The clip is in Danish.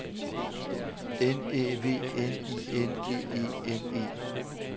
N Æ V N I N G E N E